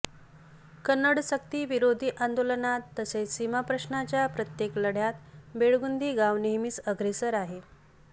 कन्नडसक्ती विरोधी आंदोलनात तसेच सीमाप्रश्नाच्या प्रत्येक लढय़ात बेळगुंदी गाव नेहमीच अग्रेसर आहे